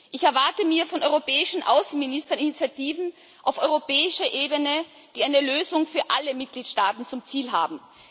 Ich erwarte mir von europäischen Außenministern Initiativen auf europäischer Ebene, die eine Lösung für alle Mitgliedstaaten zum Ziel haben.